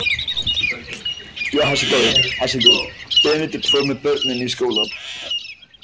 Benedikt fór með börnin í skólann.